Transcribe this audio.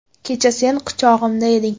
Kecha sen quchog‘imda eding.